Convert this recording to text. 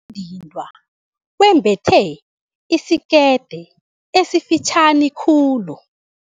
dindwa wembethe isikete esifitjhani khulu.